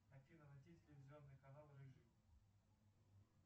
афина найди телевизионный канал рыжий